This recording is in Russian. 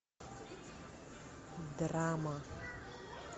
драма